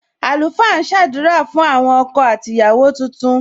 Àlùfáà ń sadura fún àwọn ọkọ àti ìyàwó tuntun.